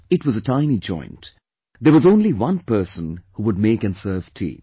It was a tiny joint; there was only one person who would make & serve tea